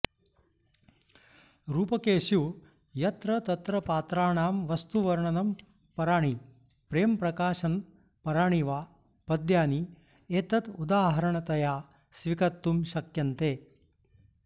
रूपकेषु यत्र तत्र पात्राणां वस्तुवर्णन पराणि प्रेमप्रकाशनपराणि वा पद्यानि एतदुदाहरणतया स्वीकत्तुं शक्यन्ते